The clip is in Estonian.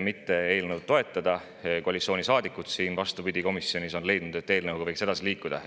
mitte eelnõu toetada, aga koalitsioonisaadikud on, vastupidi, komisjonis leidnud, et eelnõuga võiks edasi liikuda.